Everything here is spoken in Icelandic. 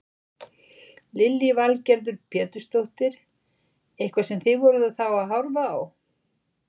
Lillý Valgerður Pétursdóttir: Eitthvað sem þið voruð þá að horfa á?